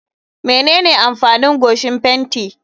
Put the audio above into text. Menene amfanin goshin fenti?